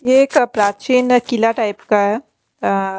ये एक प्राचीन किला टाइप का है आ आ--